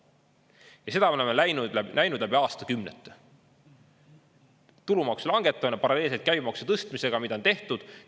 Ja seda me oleme näinud läbi aastakümnete: tulumaksu langetamine paralleelselt käibemaksu tõstmisega, mida on tehtud.